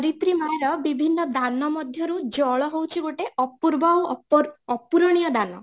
ଧରିତ୍ରୀ ମାଁର ବିଭିନ୍ନ ଦାନ ମଧ୍ୟ ରୁ ଜଳ ହଉଛି ଗୋଟେ ଅପୂର୍ବ ଆଉ ଅପୁରଣୀୟ ଦାନ